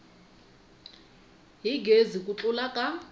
hi gezi ku tlula ka